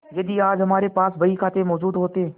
यदि आज हमारे पास बहीखाते मौजूद होते